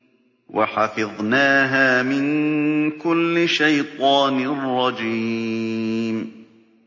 وَحَفِظْنَاهَا مِن كُلِّ شَيْطَانٍ رَّجِيمٍ